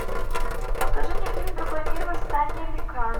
покажи мне фильм другой мир восстание ликанов